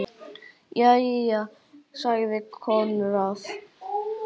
Jæja, sagði Konráð.